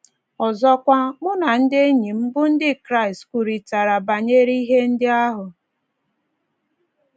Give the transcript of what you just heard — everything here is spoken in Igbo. Ọzọkwa, mụ na ndị enyi m bụ́ Ndị Kraịst kwurịtara banyere ihe ndị ahụ. ”